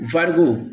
Wari ko